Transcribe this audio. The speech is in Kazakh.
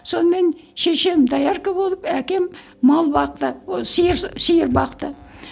сонымен шешем доярка болып әкем мал бақты ы сиыр сиыр бақты